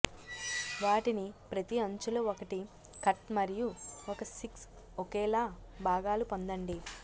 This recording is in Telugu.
వాటిని ప్రతి అంచుల ఒకటి కట్ మరియు ఒక సిక్స్ ఒకేలా భాగాలు పొందండి